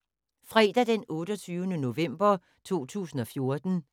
Fredag d. 28. november 2014